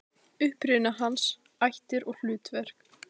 Uppruni hans, ættir og hlutverk.